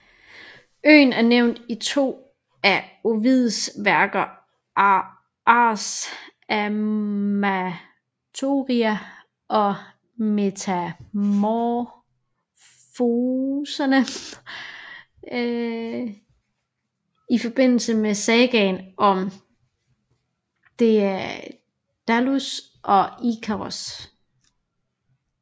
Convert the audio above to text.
Øen er nævnt i to af Ovids værker Ars Amatoria og Metamorfoserne i forbindelse med sagaen om Daedalus og Ikaros